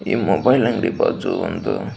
ಈ ಮೊಬೈಲ್ ಅಂಗಡಿ ಬಾಜು ಒಂದು --